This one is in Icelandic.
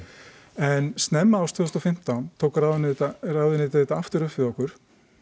en snemma árs tvö þúsund og fimmtán tók ráðuneytið þetta ráðuneytið þetta aftur upp við okkur